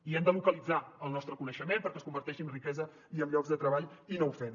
i hem de localitzar el nostre coneixement perquè es converteixi en riquesa i en llocs de treball i no ho fem